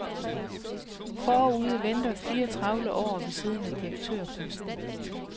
Forude venter fire travle år ved siden af direktørposten.